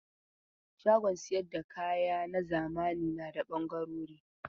Shagon sayar da kaya na zamani da na ɓangarori.